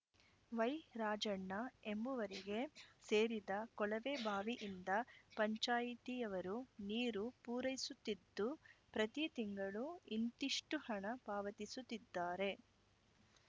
ವೈರಾಜಣ್ಣ ಎಂಬುವರಿಗೆ ಸೇರಿದ ಕೊಳವೆಬಾವಿಯಿಂದ ಪಂಚಾಯಿತಿಯವರು ನೀರು ಪೂರೈಸುತ್ತಿದ್ದು ಪ್ರತಿ ತಿಂಗಳು ಇಂತಿಷ್ಟುಹಣ ಪಾವತಿಸುತ್ತಿದ್ದಾರೆ